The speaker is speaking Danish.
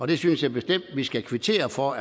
det synes jeg bestemt vi skal kvittere for